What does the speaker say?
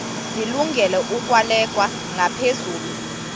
zilungele ukwalekwa ngaphezulu